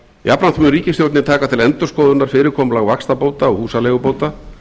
jafnframt mun ríkisstjórnin taka til endurskoðunar fyrirkomulag vaxtabóta og húsaleigubóta